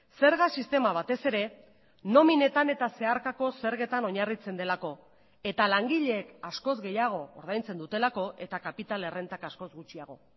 zerga sistema batez ere nominetan eta zeharkako zergetan oinarritzen delako eta langileek askoz gehiago ordaintzen dutelako eta kapital errentak askoz gutxiago